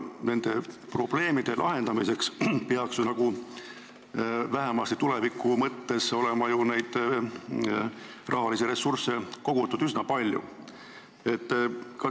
Nende probleemide lahendamiseks peaks ju vähemasti tuleviku mõttes olema rahalisi ressursse kogutud üsna palju.